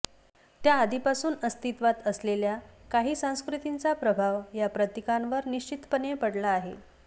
त्या आधीपासून अस्तित्वात असलेल्या काही संस्कृतींचा प्रभाव या प्रतीकांवर निश्चितपणे पडला आहे